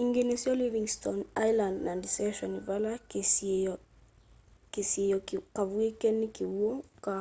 ingĩ nĩsyo livingstone island na deception vala kasiĩo kavwĩke nĩ kĩw'ũ ka